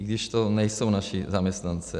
I když to nejsou naši zaměstnanci.